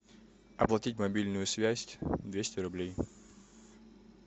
оплатить мобильную связь двести рублей